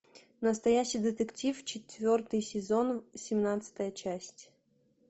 настоящий детектив четвертый сезон семнадцатая часть